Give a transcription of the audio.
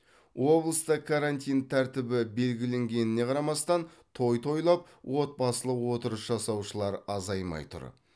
облыста карантин тәртібі белгіленгеніне қарамастан той тойлап отбасылық отырыс жасаушылар азаймай тұр